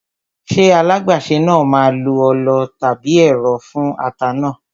Ṣé alágbàsè náà máa lo ọlọ tàbí ẹ̀rọ fún ata náà?